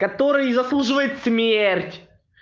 который заслуживает смерть